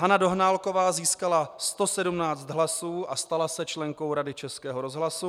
Hana Dohnálková získala 117 hlasů a stala se členkou Rady Českého rozhlasu.